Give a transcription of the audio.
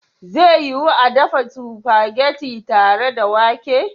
Zai yiwu a dafa spaghetti tare da wake?